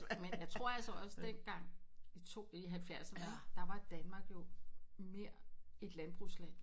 Men jeg tror altså også dengang i to i halvfjerdserne ikke der var Danmark jo mere et landbrugsland